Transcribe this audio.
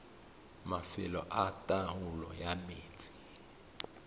mafelo a taolo ya metsi